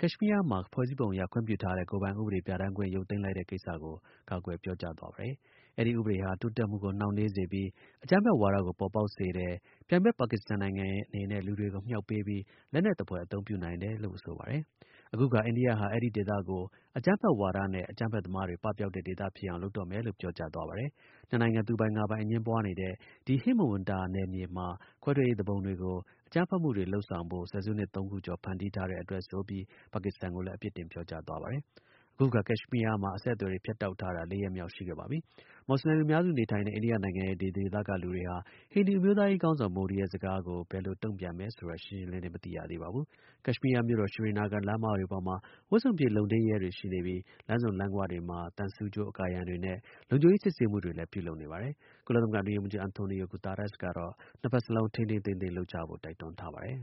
ကက်ရှ်မီးယားမှာ ဖွဲ့စည်းပုံအရခွင့်ပြုထားတဲ့ ကိုယ်ပိုင်ဥပဒေ ပြဌာန်းခွင့် ရုပ်သိမ်းလိုက်တဲ့ကိစ္စကို ကာကွယ် ပြောကြားသွားပါတယ်။ အဲဒီဥပဒေဟာ တိုးတက်မှုကို နှောင့်နှေးစေပြီး အကြမ်းဖက်ဝါဒကို ပေါ်ပေါက်စေတယ်။ ပြိုင်ဖက် ပါကစ္စတန်နိုင်ငံ အနေနဲ့ လူတွေကိုမြှောက်ပေးပြီး လက်နက်သဖွယ် အသုံးပြုနိုင်တယ်လို့ ဆိုပါတယ်။ အခုအခါ အိန္ဒိယဟာ အဲဒီဒေသကို အကြမ်းဖက်ဝါဒနဲ့ အကြမ်းဖက်သမားတွေ ပပျောက်တဲ့ဒေသဖြစ်အောင် လုပ်တော့မယ်လို့ ပြောကြားသွား ပါတယ်။ နှစ်နိုင်ငံ သူပိုင်ငါပိုင် အငြင်းပွားနေတဲ့ ဒီဟိမဝန္တာနယ်မြေမှာ ခွဲထွက်ရေးသူပုန်တွေကို အကြမ်းဖက်မှုတွေ လုပ်ဆောင်ဖို့ ဆယ်စုနှစ် သုံးခုကျော် ဖန်တီးထားတဲ့အတွက်ဆိုပြီး ပါကစ္စတန်ကိုလည်း အပြစ်တင် ပြောကြားသွားပါတယ်။ အခုအခါ ကက်ရှ်မီးယားမှာ အဆက်အသွယ်တွေ ဖြတ်တောက်ထားတာ ၄ ရက်မြောက်ရှိခဲ့ပါပြီ။ မူဆလင် လူများစုနေထိုင်တဲ့ အိန္ဒိယနိုင်ငံရဲ့ ဒီဒေသက လူတွေဟာ ဟိန္ဒူအမျိုးသားရေးခေါင်းဆောင် မိုဒီရဲ့ ကတိစကားကို ဘယ်လိုတုံ့ပြန်တယ်ဆိုတာ ရှင်းရှင်းလင်းလင်း မသိရသေးပါဘူး။ ကက်ရှ်မီးယားမြို့တော် Sri Nagar လမ်းမတွေပေါ်မှာ ဝတ်စုံပြည့် လုံထိန်းရဲတွေ ရှိနေပြီး၊ လမ်းဆုံလမ်းဂွတွေမှာ သံဆူးကြိုးအကာအရံတွေနဲ့ လုံခြုံရေးစစ်ဆေးမှုတွေလည်း ပြုလုပ်နေပါတယ်။ ကုလသမဂ္ဂအတွင်းရေးမှူးချုပ် အန်ထိုနီယို-ဂူတားရပ်စ်ကတော့ နှစ်ဖက်စလုံး ထိန်းထိန်းသိမ်းသိမ်း လုပ်ကြဖို့ တိုက်တွန်းထားပါတယ်။